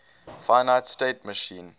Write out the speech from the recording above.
finite state machine